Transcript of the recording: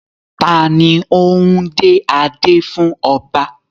Ta ni ó ń dé adé fún ọba?